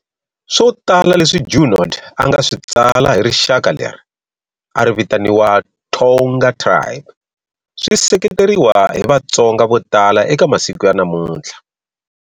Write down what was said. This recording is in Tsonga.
Swo tala leswi Junod a nga swi tsala hi rixaka leri a ri vitaniwa Thonga tribe swi seketeriwa hi Vatsonga vo tala eka masiko ya namuntlha.